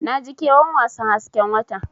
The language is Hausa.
Naji ƙewan wasan hasken wata.